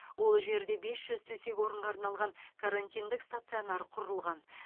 ол жерде бес жүз төсек орынға арналған карантиндік стационар құрылған